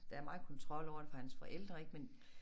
Der er meget kontrol over det fra hans forældre ik men